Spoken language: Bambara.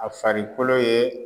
A farikolo ye